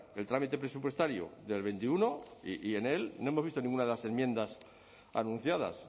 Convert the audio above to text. el trámite presupuestario del veintiuno y en él no hemos visto ninguna de las enmiendas anunciadas